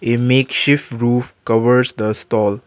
a make ship roof covers the stall.